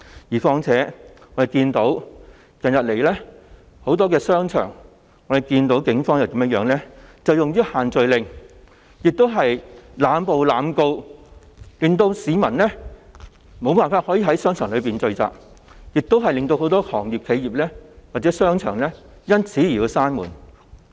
而且，我們看到近日在很多商場內出現的情況，就是警方以限聚令為由濫捕、濫告，令市民無法在商場內聚集，也令很多商鋪和商場關上門。